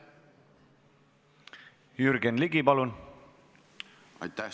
Jürgen Ligi, palun!